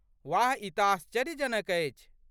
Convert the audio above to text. वाह! ई तँ आश्चर्यजनक अछि।